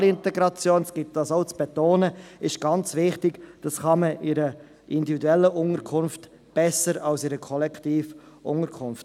– kann man in einer individuellen Unterkunft besser erreichen als in einer Kollektivunterkunft.